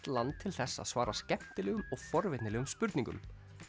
land til þess að svara skemmtilegum og forvitnilegum spurningum